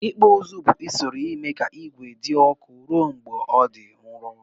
Ikpụ ụzụ bu usoro ime ka igwe di ọkụ rụọ mgbe ọ di nrọ.